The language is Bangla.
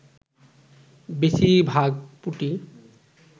বেশির ভাগ পুঁটি